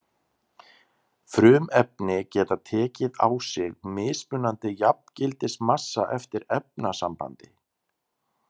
Frumefni geta tekið á sig mismunandi jafngildismassa eftir efnasambandi.